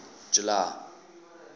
july